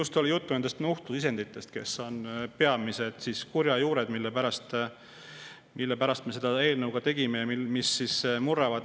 Siin on juttu just nuhtlusisenditest, kes on peamised kurjajuured – sellepärast me selle eelnõu ka tegime – ja kes murravad.